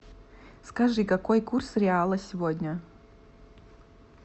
скажи какой курс реала сегодня